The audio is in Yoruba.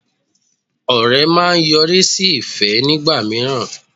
Ọ̀rẹ́ máa ń yọrí sí ìfẹ́ nígbà míràn